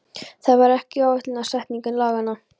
Það var ekki ætlunin með setningu laganna.